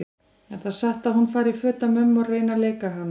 Er það satt að hún fari í föt af mömmu og reyni að leika hana?